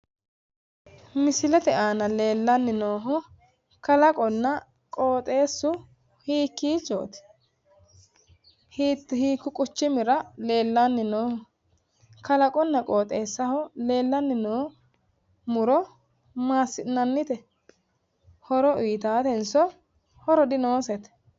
Misilete aana leellanni noohu kalaqonna qooxeessu hiikiichot? Hiiku quchumira leellanni nooho? Kalaqonna qoxeesaho leellanni noo muro masi'nanite? Horo uyiitaatenso horo dinoosete?